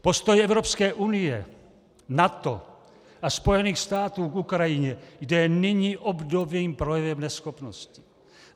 Postoj Evropské unie, NATO a Spojených států k Ukrajině je nyní obdobným projevem neschopnosti.